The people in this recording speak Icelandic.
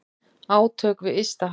Átök við ysta haf.